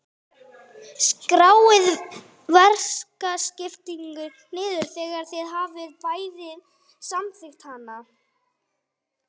Skráið verkaskiptinguna niður þegar þið hafið bæði samþykkt hana.